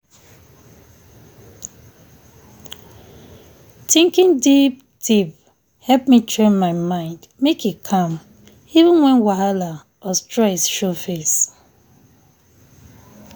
thinking deep deepe help me train my mind make e calm even when whahala or stress show face.